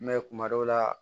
kuma dɔw la